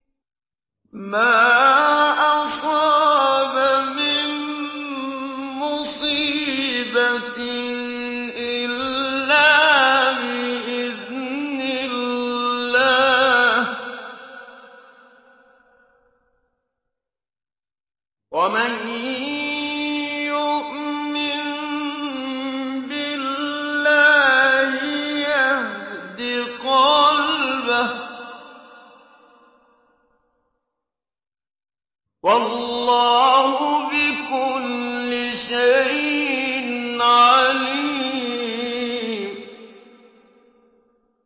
مَا أَصَابَ مِن مُّصِيبَةٍ إِلَّا بِإِذْنِ اللَّهِ ۗ وَمَن يُؤْمِن بِاللَّهِ يَهْدِ قَلْبَهُ ۚ وَاللَّهُ بِكُلِّ شَيْءٍ عَلِيمٌ